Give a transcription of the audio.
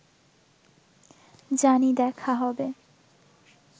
জানি দেখা হবে